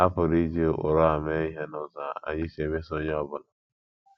A pụrụ iji ụkpụrụ a mee ihe n’ụzọ anyị si emeso onye ọ bụla.